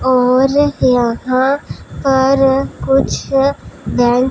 और यहां पर कुछ लाइट --